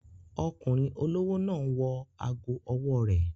Ọkùnrin olówó náà n wọ ago ọwọ́ rẹ̀